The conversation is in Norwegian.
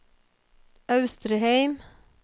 Austrheim